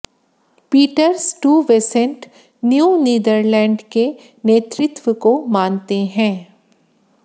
Peter Stuyvesant New Netherland के नेतृत्व को मानते हैं